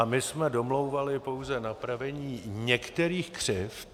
A my jsme domlouvali pouze napravení některých křivd.